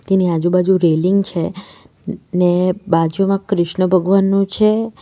એની આજુબાજુ રેલિંગ છે ને બાજુમાં કૃષ્ણ ભગવાનનું છે.